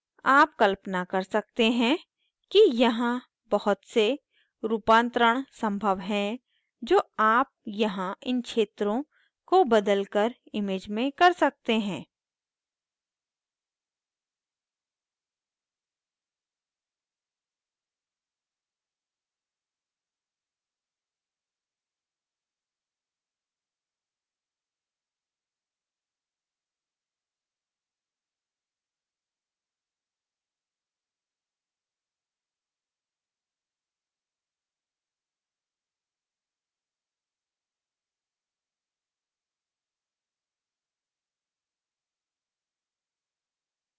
आप कल्पना कर सकते हैं कि यहाँ बहुत से रूपांतरण संभव हैं जो आप यहाँ इन क्षेत्रों को बदलकर image में कर सकते हैं